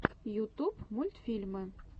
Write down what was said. ютуб мультфильмы